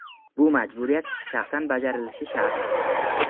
Bu majburiyat shaxsan bajarilishi shart.